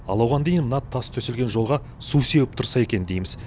ал оған дейін мына тас төселген жолға су сеуіп тұрса екен дейміз